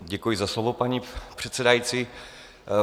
Děkuji za slovo, paní předsedající.